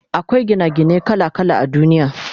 Akwai Gina gine kala kala a duniya